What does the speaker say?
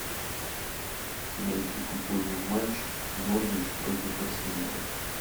найти футбольный матч норвич против арсенала